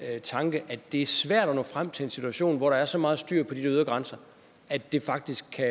tanke at det er svært at nå frem til en situation hvor der er så meget styr på de ydre grænser at det faktisk kan